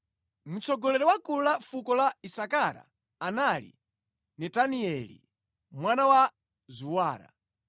Mtsogoleri wa gulu la fuko la Isakara anali Netanieli mwana wa Zuwara,